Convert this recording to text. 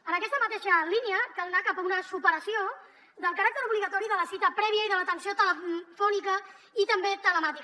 en aquesta mateixa línia cal anar cap a una superació del caràcter obligatori de la cita prèvia i de l’atenció telefònica i també telemàtica